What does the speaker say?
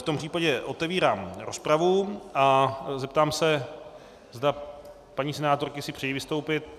V tom případě otevírám rozpravu a zeptám se, zda paní senátorky si přejí vystoupit.